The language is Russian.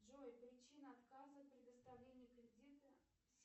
джой причина отказа предоставления кредита